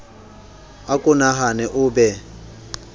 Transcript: a ko nahane o be